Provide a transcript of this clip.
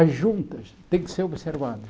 As juntas têm que ser observadas.